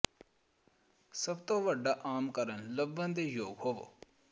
ਸਭ ਤੋਂ ਵੱਡਾ ਆਮ ਕਾਰਕ ਲੱਭਣ ਦੇ ਯੋਗ ਹੋਵੋ